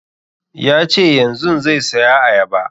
Ya ce yanzun zai saya ayaba